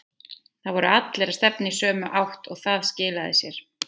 Það voru allir að stefna í sömu átt og það skilaði sér.